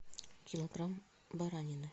килограмм баранины